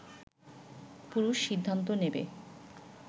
পুরুষ সিদ্ধান্ত নেবে